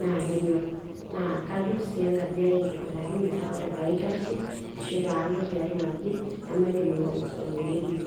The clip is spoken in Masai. naa kenyor, meta ore pee alo tiatuaji nemaituny oleiterio.